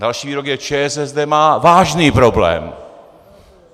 Další výrok je: ČSSD má vážný problém.